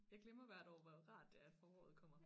Jeg glemmer hvert år hvor rart det er foråret kommer